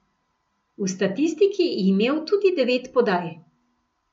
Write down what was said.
V statistiki je imel tudi devet podaj.